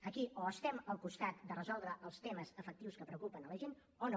aquí o estem al costat de resoldre els temes efectius que preocupen la gent o no